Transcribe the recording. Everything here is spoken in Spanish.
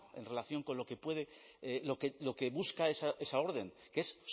en relación con lo que busca esa orden que es